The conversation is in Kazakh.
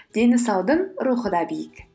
дені саудың рухы да биік